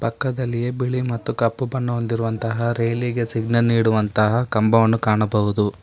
ಪಕ್ಕದಲ್ಲಿಯೇ ಬಿಳಿ ಮತ್ತು ಕಪ್ಪು ಬಣ್ಣ ಹೊಂದಿರುವಂತಹ ರೇಲಿ ಗೆ ಸಿಗ್ನಲ್ ನೀಡುವಂತಹ ಕಂಬವನ್ನು ಕಾಣಬಹುದು.